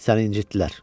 Səni incitdilər.